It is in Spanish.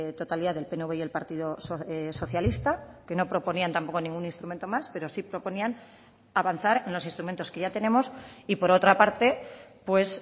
totalidad del pnv y el partido socialista que no proponían tampoco ningún instrumento más pero sí proponían avanzar en los instrumentos que ya tenemos y por otra parte pues